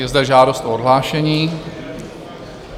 Je zde žádost o odhlášení.